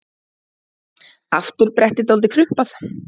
Afturbrettið dálítið krumpað.